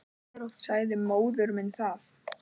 Sagði móður minni það.